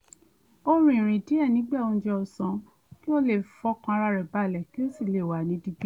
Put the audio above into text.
ó rìn ìrìn díẹ̀ nígbà oúnjẹ ọ̀sán kó lè fọkàn ara rẹ̀ balẹ̀ kó sì lè wà ní digbí